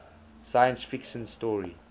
science fiction story